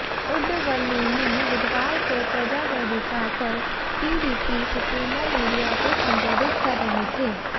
उंडवल्ली में बुधवार को प्रजा वेदिका पर टीडीपी सुप्रीमो मीडिया को संबोधित कर रहे थे